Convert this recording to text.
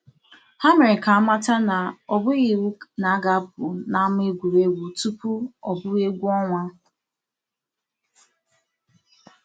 Ha mere ka a mata na ọ bụghị iwu na a ga-apụ n'ama egwuregwu tupu ọ bụrụ egwu ọnwa.